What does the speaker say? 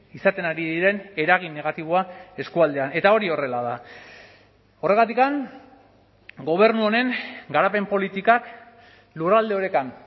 izaten ari diren eragin negatiboa eskualdean eta hori horrela da horregatik gobernu honen garapen politikak lurralde orekan